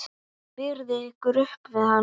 Berið ykkur upp við hann!